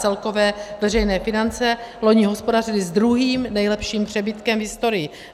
Celkové veřejné finance loni hospodařily s druhým nejlepším přebytkem v historii.